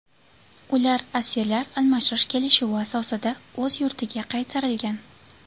Ular asirlar almashish kelishuvi asosida o‘z yurtiga qaytarilgan.